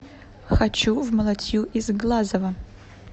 хочу в малатью из глазова